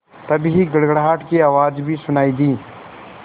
तभी गड़गड़ाहट की आवाज़ भी सुनाई दी